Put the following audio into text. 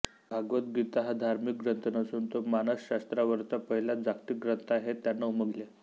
भगवद्गीता हा धार्मिक ग्रंथ नसून तो मानसशास्त्रावरचा पहिला जागतिक ग्रंथ आहे हे त्यांना उमगले